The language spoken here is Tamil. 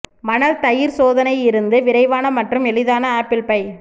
மணல் தயிர் சோதனை இருந்து விரைவான மற்றும் எளிதான ஆப்பிள் பை